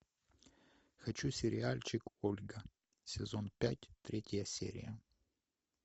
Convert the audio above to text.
хочу сериальчик ольга сезон пять третья серия